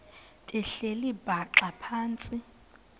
behleli bhaxa phantsi